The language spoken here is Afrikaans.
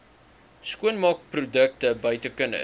skoonmaakprodukte buite kinders